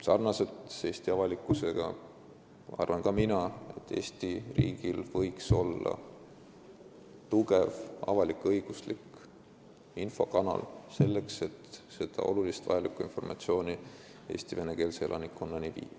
Nii nagu Eesti avalikkus arvan ka mina, et Eesti riigil võiks olla tugev avalik-õiguslik infokanal selleks, et olulist ja vajalikku informatsiooni Eesti venekeelse elanikkonnani viia.